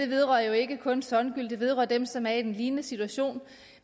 vedrører jo ikke kun songül det vedrører dem som er i en lignende situation